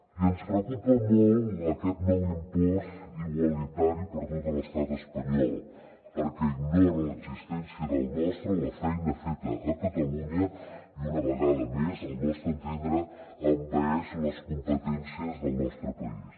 i ens preocupa molt aquest nou impost igualitari per a tot l’estat espanyol perquè ignora l’existència del nostre la feina feta a catalunya i una vegada més al nostre entendre envaeix les competències del nostre país